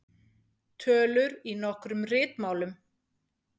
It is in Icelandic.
Tölur í nokkrum ritmálum.